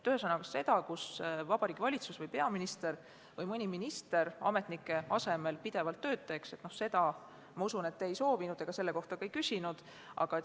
Ühesõnaga, seda, et Vabariigi Valitsus, peaminister või mõni teine minister ametnike asemel pidevalt tööd teeks, ma usun, te ei soovinud ja selle kohta ka ei küsinud.